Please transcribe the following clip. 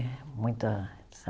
Muita